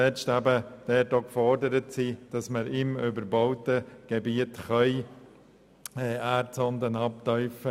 Deshalb sind wir nicht zuletzt gefordert, im überbauten Gebiet Erdsonden abzutiefen.